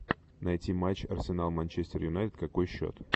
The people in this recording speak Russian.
найти матч арсенал манчестер юнайтед какой счет